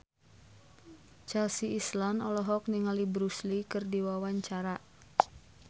Chelsea Islan olohok ningali Bruce Lee keur diwawancara